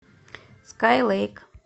скай лэйк